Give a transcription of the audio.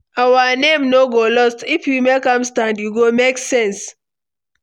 Our name no go lost, if we make am stand e go make sense